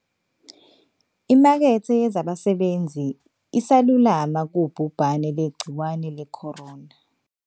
.imakethe yezabasebenzi isalulama kubhubhane lwegciwane le-corona.